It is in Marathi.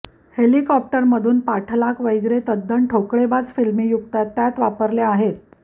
हेलिकॉप्टरमधून पाठलाग वगैरे तद्दन ठोकळेबाज फिल्मी युक्त्या त्यात वापरलेल्या आहेत